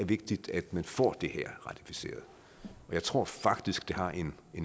vigtigt at man får det her ratificeret og jeg tror faktisk at det har en